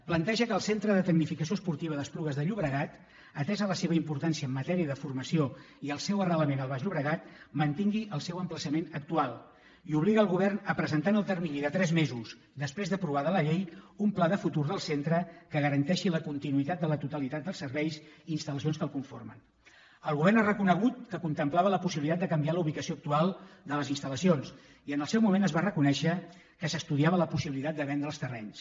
planteja que el centre de tecnificació esportiva d’esplugues de llobregat atesa la seva importància en matèria de formació i el seu arrelament al baix llobregat mantingui el seu emplaçament actual i obliga el govern a presentar en el termini de tres mesos després d’aprovada la llei un pla de futur del centre que garanteixi la continuïtat de la totalitat dels serveis i instalel govern ha reconegut que contemplava la possibilitat de canviar la ubicació actual de les instali en el seu moment es va reconèixer que s’estudiava la possibilitat de vendre’n els terrenys